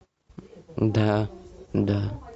да да